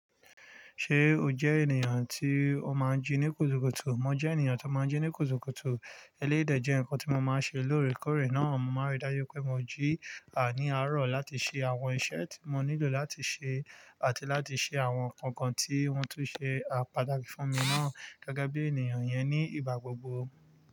Ṣé o jẹ́ ènìyàn tí o máa ń jí ní kùtùkùtù? Mo jẹ́ ènìyàn tó máa ń jí ní kùtùkùtù. Eleyii dẹ jẹ́ nǹkan tí mo máa ń ṣe lóòrèkóòrè náà. Mo máa n rí dájú pé mo jí à ní àárọ̀ láti ṣe àwọn iṣẹ́ tí mo nílò láti ṣe àti láti ṣe àwọn nǹkankan tí wọ́n tún ṣe à pataki fún mi náà gẹ́gẹ́ bí ènìyàn iyẹn ní ìgbà gbogbo.